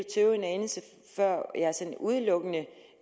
tøve en anelse før jeg sådan udelukkende